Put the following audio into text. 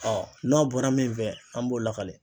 n'aw bɔra min fɛ an b'o lakale